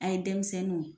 An ye denmisɛnninw